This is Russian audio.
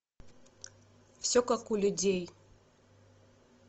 все как у людей